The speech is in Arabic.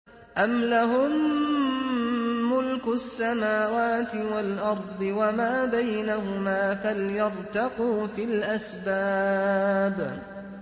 أَمْ لَهُم مُّلْكُ السَّمَاوَاتِ وَالْأَرْضِ وَمَا بَيْنَهُمَا ۖ فَلْيَرْتَقُوا فِي الْأَسْبَابِ